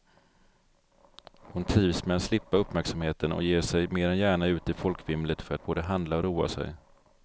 Hon trivs med att slippa uppmärksamheten och ger sig mer än gärna ut i folkvimlet för att både handla och roa sig.